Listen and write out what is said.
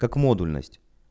как модульность